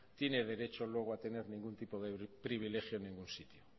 tiene derecho luego a tener ningún tipo de privilegio en ningún sitio